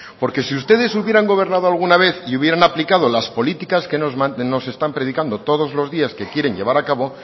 porque si ustedes hubieran gobernado alguna vez y hubieran aplicado las políticas que nos están predicando todos los días que quieren llevar a cabo